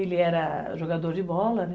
Ele era jogador de bola, né?